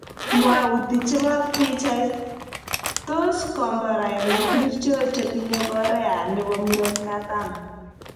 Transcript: Mwauti chebo pichait, tos komborainik ngircho che tinye Korea nebo murotkatam